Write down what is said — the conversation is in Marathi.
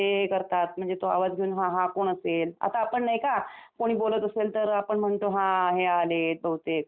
म्हणजे तो आवाज घेऊन हा हा कोण असेल आता पण नाही का कोणी बोलत असेल तर आपण म्हणतो हा हे आलेत. बहुतेक असं म्हणतो ना?